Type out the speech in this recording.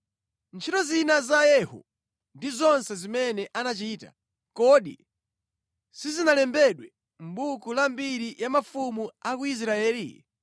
Ntchito zina za Yehu ndi zonse zimene anachita, kodi sizinalembedwe mʼbuku la mbiri ya mafumu a ku Israeli?